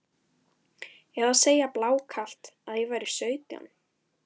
Eða segja blákalt að ég væri sautján?